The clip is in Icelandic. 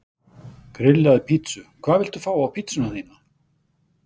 Grillaði pizzu Hvað vilt þú fá á pizzuna þína?